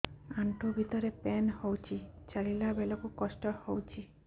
ଆଣ୍ଠୁ ଭିତରେ ପେନ୍ ହଉଚି ଚାଲିଲା ବେଳକୁ କଷ୍ଟ ହଉଚି